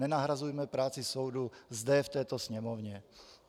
Nenahrazujme práci soudu zde v této Sněmovně.